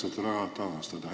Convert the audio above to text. Aitäh!